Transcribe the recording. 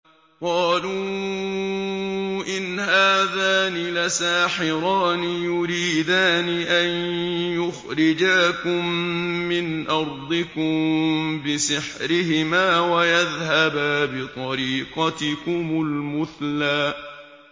قَالُوا إِنْ هَٰذَانِ لَسَاحِرَانِ يُرِيدَانِ أَن يُخْرِجَاكُم مِّنْ أَرْضِكُم بِسِحْرِهِمَا وَيَذْهَبَا بِطَرِيقَتِكُمُ الْمُثْلَىٰ